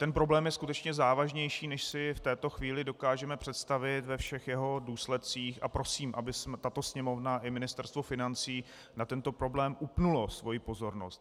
Ten problém je skutečně závažnější, než si v této chvíli dokážeme představit ve všech jeho důsledcích, a prosím, aby tato Sněmovna i Ministerstvo financí na tento problém upnuly svoji pozornost.